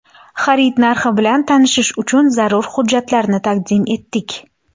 Xarid narxi bilan tanishish uchun zarur hujjatlarni taqdim etdik.